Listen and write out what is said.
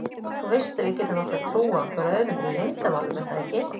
Þú veist að við getum alltaf trúað hvor öðrum fyrir leyndarmálum er það ekki?